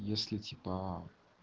если типа